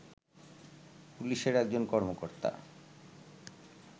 পুলিশের একজন কর্মকর্তা